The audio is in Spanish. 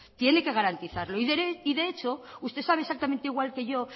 tiene que garantizarlo y de hecho usted sabe exactamente igual que yo